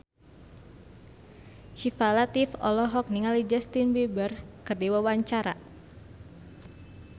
Syifa Latief olohok ningali Justin Beiber keur diwawancara